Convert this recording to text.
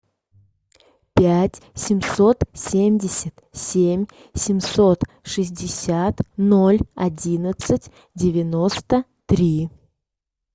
пять семьсот семьдесят семь семьсот шестьдесят ноль одиннадцать девяносто три